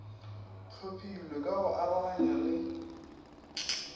hlophilwe ka go arogana di